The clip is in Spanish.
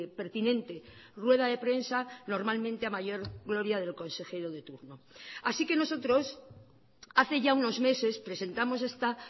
pertinente rueda de prensa normalmente a mayor gloria del consejero de turno así que nosotros hace ya unos meses presentamos esta